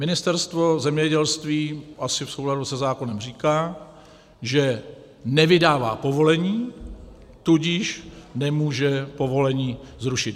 Ministerstvo zemědělství asi v souladu se zákonem říká, že nevydává povolení, tudíž nemůže povolení zrušit.